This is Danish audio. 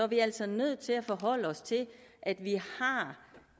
vi altså nødt til at forholde os til at vi